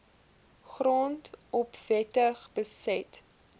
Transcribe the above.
grond onwettig beset